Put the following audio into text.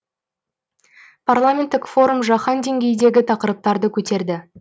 парламенттік форум жаһан деңгейіндегі тақырыптарды көтерді